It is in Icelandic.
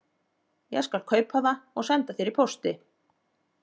Ég skal kaupa það og senda þér í pósti